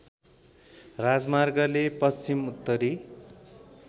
राजमार्गले पश्चिम उत्तरी